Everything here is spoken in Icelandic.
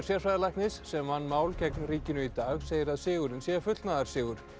sérfræðilæknis sem vann mál gegn ríkinu í dag segir að sigurinn sé fullnaðarsigur